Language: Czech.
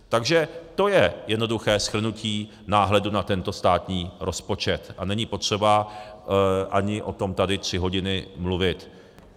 Takže to je jednoduché shrnutí náhledu na tento státní rozpočet a není potřeba ani o tom tady tři hodiny mluvit.